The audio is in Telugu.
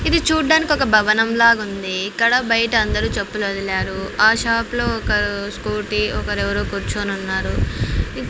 ఇది చూడ్డానికి ఒక భవనం లాగుంది ఇక్కడ బైట అందరూ చెప్పులొదిరారు ఆ షాప్ లో ఒకరు స్కూటీ ఒకరెవరో కూర్చొనున్నారు.